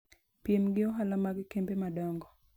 piem gi ohala mag kembe madongo.